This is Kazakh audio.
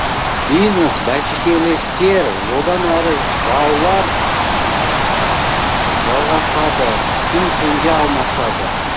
бизнес бәсекелестер одан әрі жаулар жалғасады күн түнге алмасады